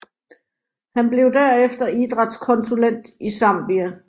Han blev derefter idrætskonsulent i Zambia